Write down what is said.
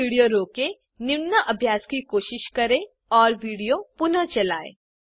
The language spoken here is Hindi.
यहाँ विडियो रोकें निम्न अभ्यास की कोशिश करें और विडियो पुनः चलायें